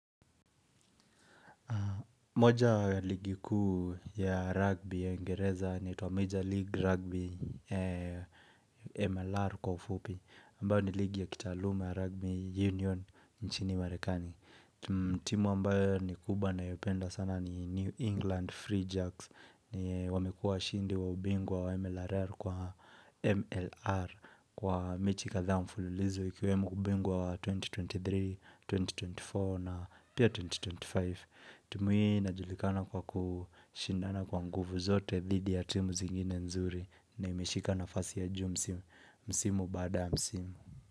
Moja ligi kuu ya rugby ya uingereza inaitwa Major League Rugby MLR kwa ufupi, ambayo ni ligi ya kitaaluma ya rugby union nchini marekani. Timu ambayo ni kubwa ninayopenda sana ni New England Free Jacks ni wamekua washindi wa ubingwa wa MLR kwa MLR kwa mechi kadhaa mfululizo ikiwemo ubingwa wa elfu mbili na ishirini na tatu, elfu mbili na ishirini na nne na pia elfu mbili na ishirini na tano. Timu hii inajulikana kwa kushindana kwa nguvu zote dhidi ya timu zingine nzuri. Na imeshika nafasi ya juu msimu. Msimu bada msimu.